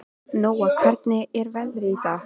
Nóa, hvernig er veðrið í dag?